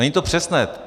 Není to přesné.